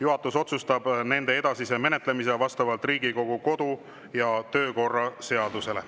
Juhatus otsustab nende edasise menetlemise vastavalt Riigikogu kodu‑ ja töökorra seadusele.